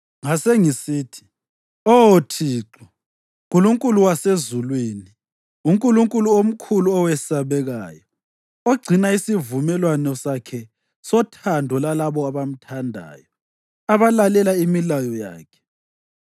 Ngasengisithi: “Oh Thixo, Nkulunkulu wasezulwini, uNkulunkulu omkhulu owesabekayo, ogcina isivumelwano sakhe sothando lalabo abamthandayo, abalalela imilayo yakhe,